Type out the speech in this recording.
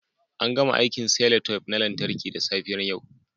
An gama aikin cellotape na lantarki a safiyar yau